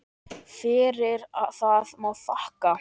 Fyrir það má þakka.